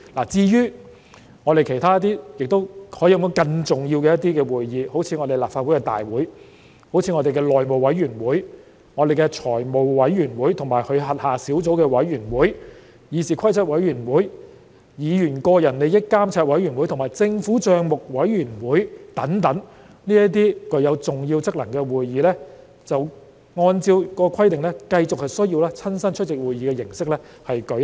至於其他可說是更重要的會議，好像立法會大會、內務委員會、財務委員會及其轄下小組委員會、議事規則委員會、議員個人利益監察委員會和政府帳目委員會等，這些具有重要職能的會議，按照該規定，則繼續需要以親身出席會議的形式舉行。